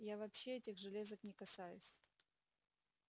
я вообще этих железок не касаюсь